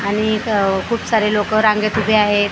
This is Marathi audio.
आणि इथं खूप सारे लोकं रांगेत उभे आहेत.